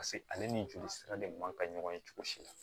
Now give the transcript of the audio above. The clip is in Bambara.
pase ale ni joli sira de man kan ɲɔgɔn ye cogo si la